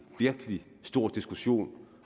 virkelig stor diskussion